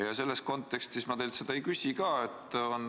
Ja selles kontekstis ma teilt seda ei küsi ka.